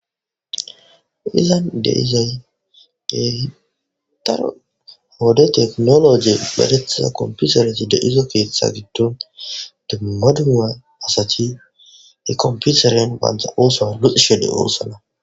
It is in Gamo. Izzan de'zay kehi daaro ha wode tekinolojjeyn medhdhetida kompitere keththa giddon dumma dumma asati he komppiteren ba oththo luxxishe deossona.